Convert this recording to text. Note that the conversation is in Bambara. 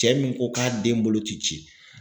Cɛ min ko k'a den bolo ti ci